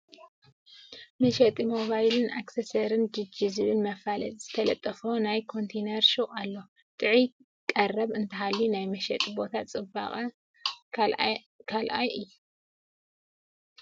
መሸጢ ሞባይልን ኣክሰሰርን ጂጂ ዝብል መፋለጢ ዝተለጠፎ ናይ ኮንተይነር ሹቕ ኣሎ፡፡ ጥዑይ ቀረብ እንተሃልዩ ናይ መሸጢ ቦታ ፅባቐ ካልአዋይ እዩ፡፡